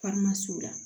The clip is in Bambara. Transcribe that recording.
la